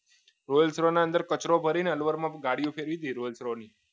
rolls roy ની અંદર કચરો ભરીને અલવરમાં ગાડીઓ ફેરવી ફેરવાય નહીં rolls roy ની